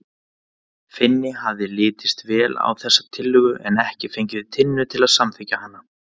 Finni hafði litist vel á þessa tillögu en ekki fengið Tinnu til að samþykkja hana.